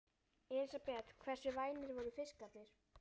Elísabet: Hversu vænir voru fiskarnir?